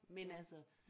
Men altså